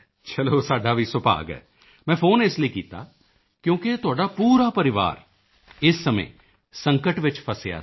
ਚਲੋ ਸਾਡਾ ਵੀ ਸੁਭਾਗ ਹੈ ਮੈਂ ਫੋਨ ਇਸ ਲਈ ਕੀਤਾ ਕਿਉਂਕਿ ਤੁਹਾਡਾ ਪੂਰਾ ਪਰਿਵਾਰ ਇਸ ਸਮੇਂ ਸੰਕਟ ਵਿੱਚ ਫ਼ਸਿਆ ਸੀ